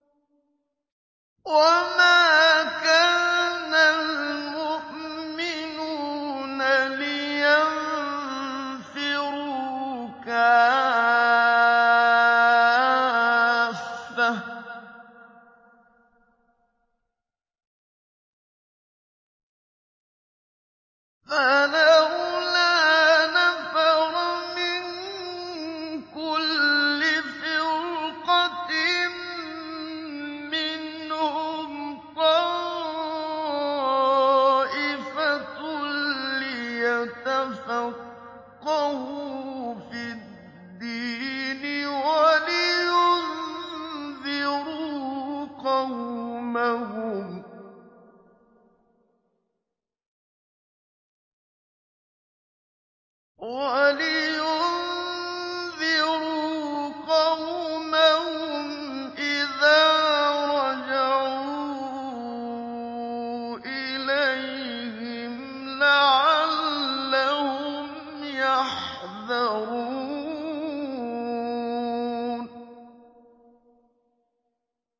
۞ وَمَا كَانَ الْمُؤْمِنُونَ لِيَنفِرُوا كَافَّةً ۚ فَلَوْلَا نَفَرَ مِن كُلِّ فِرْقَةٍ مِّنْهُمْ طَائِفَةٌ لِّيَتَفَقَّهُوا فِي الدِّينِ وَلِيُنذِرُوا قَوْمَهُمْ إِذَا رَجَعُوا إِلَيْهِمْ لَعَلَّهُمْ يَحْذَرُونَ